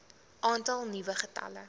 aantal nuwe gevalle